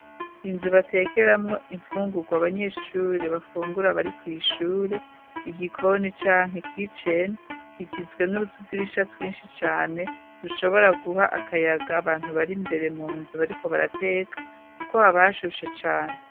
Inzu batekeramwo imfungurwa abanyeshure bafungura bari kw'ishure igikoni canke kiceni kigizwe n'utudirisha twinshi cane dushobora guha akayaga abantu bari mbere mu nzu bariko barateka kuko habashushe cane.